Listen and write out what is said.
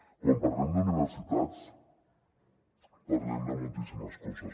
quan parlem d’universitats parlem de moltíssimes coses